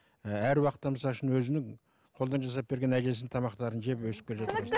ііі әр уақытта мысалы үшін өзінің қолдан жасап берген әжесінің тамақтарын жеп өсіп